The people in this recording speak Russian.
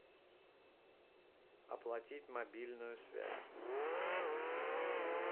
оплатить мобильную связь